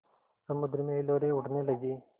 समुद्र में हिलोरें उठने लगीं